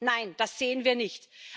Nein, das sehen wir nicht!